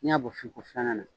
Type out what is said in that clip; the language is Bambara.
N'i y'a bɔ fin ko filana na